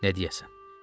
Nə deyəsən?